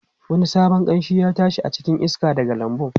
Wani sabon kamshi ya tashi a cikin iska daga lambun.